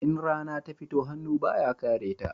In rana ta fito, hannu ba ya kare ta